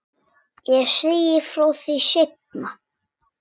Ég segi frá því seinna.